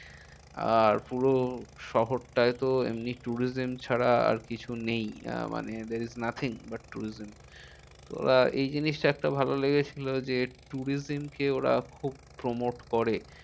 আর পুরো শহরটায় তো এমনি tourism ছাড়া আর কিছু নেই। আহ মানে there is nothing but tourism তো ওরা এই জিনিসটা একটা ভালো লেগেছিলো যে tourism কে ওরা খুব promote করে।